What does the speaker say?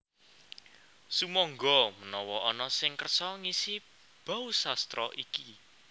Sumangga menawa ana sing kersa ngisi bausastra iki